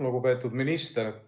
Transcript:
Lugupeetud minister!